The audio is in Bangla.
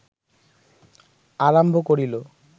আরম্ভ করিল